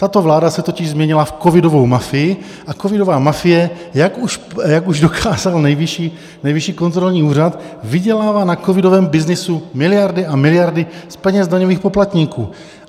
Tato vláda se totiž změnila v covidovou mafii a covidová mafie, jak už dokázal Nejvyšší kontrolní úřad, vydělává na covidovém byznysu miliardy a miliardy z peněz daňových poplatníků.